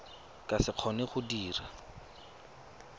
ka se kgone go dira